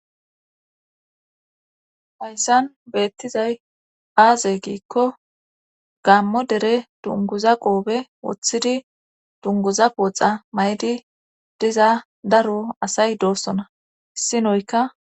Hayssan beettizay aaze giikko gammo dere dunguza qoobe woththidi dunguza qooxa may'di diza daro asay doossona issinoyka.